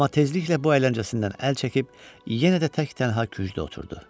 Amma tezliklə bu əyləncəsindən əl çəkib yenə də tək-tənha kücdə oturdu.